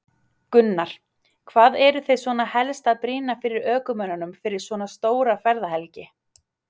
Gunnar: Hvað eruð þið svona helst að brýna fyrir ökumönnum fyrir svona stóra ferðahelgi?